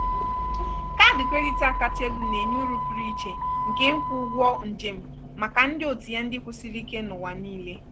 kaadị kredit a kacha elu na-enye uru pụrụ iche nke nkwụ ụgwọ njem maka ndị òtù ya ndị kwụsiri ike n'ụwa niile.